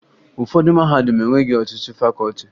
Ụfọdụ mahadum enweghi ọtụtụ fakọọti